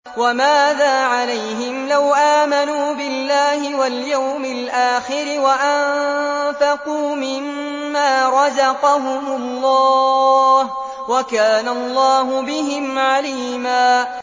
وَمَاذَا عَلَيْهِمْ لَوْ آمَنُوا بِاللَّهِ وَالْيَوْمِ الْآخِرِ وَأَنفَقُوا مِمَّا رَزَقَهُمُ اللَّهُ ۚ وَكَانَ اللَّهُ بِهِمْ عَلِيمًا